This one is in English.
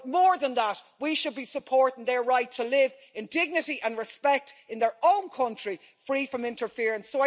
But more than that, we should be supporting their right to live in dignity and respect in their own country, free from interference.